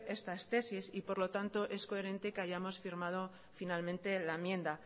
estas tesis y por lo tanto es coherente que hayamos firmado finalmente la enmienda